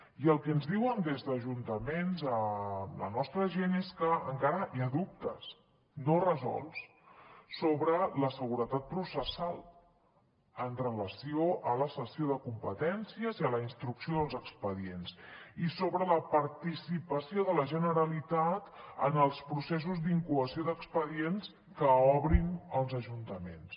i el que ens diuen des d’ajuntaments la nostra gent és que encara hi ha dubtes no resolts sobre la seguretat processal en relació amb la cessió de competències i amb la instrucció dels expedients i sobre la participació de la generalitat en els processos d’incoació d’expedients que obrin els ajuntaments